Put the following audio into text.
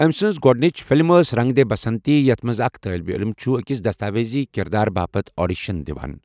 إٔمہِ سٕنٛز گۄڈٕنِچ فلِم ٲس رنگ دے بسنتی، یَتھ منٛز اکھ طالبہِ علِم چھُ أکِس دستاویزِی کِردار باپتھ آڈیشن دِوان۔